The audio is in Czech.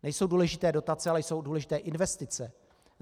Nejsou důležité dotace, ale jsou důležité investice.